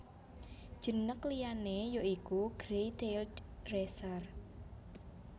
Jenneg liyané ya iku Grey tailed Racer